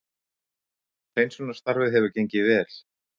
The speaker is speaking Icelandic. Hreinsunarstarfið hefur gengið vel